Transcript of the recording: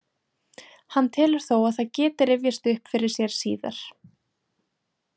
Hann telur þó að það geti rifjast upp fyrir sér síðar.